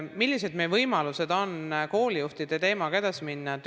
Millised on meie võimalused koolijuhtide teemaga edasi minna?